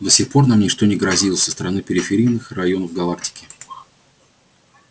до сих пор нам ничто не грозило со стороны периферийных районов галактики